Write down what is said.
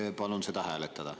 Jaa, palun seda hääletada.